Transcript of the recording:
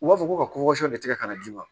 U b'a fɔ ko ka tigɛ ka na d'i ma